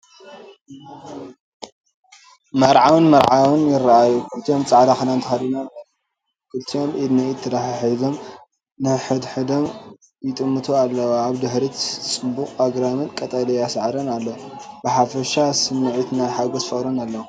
መርዓውን መርዓውን ይረኣዩ። ክልቲኦም ጻዕዳ ክዳን ተኸዲኖም እዮም። ክልቲኦም ኢድ ንኢድ ተተሓሒዞም ንሓድሕዶም ይጥምቱ ኣለዉ። ኣብ ድሕሪት ጽዑቕ ኣግራብን ቀጠልያ ሳዕርን ኣሎ። ብሓፈሻ ስሚዒት ናይ ሓጎስን ፍቕርን ኣለዎ።